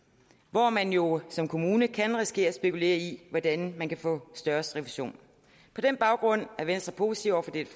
hvor man jo som kommune kan risikere at spekulere i hvordan man kan få størst refusion på den baggrund er venstre positiv over for dette